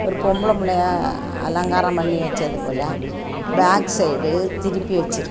ஒரு பொம்பள புள்ளைய அலங்காரம் பண்ணி வச்சது போல பேக் சைடு திருப்பி வச்சிருக்--